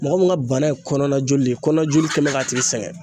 Mɔgɔ min ka bana ye kɔnɔna joli de ye, kɔnɔna joli kɛlen don k'a tigi sɛgɛn.